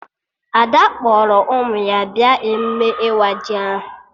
Ada kpọrọ ụmụ ya bịa emume ịwa ji ahụ